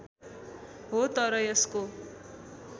हो तर यसको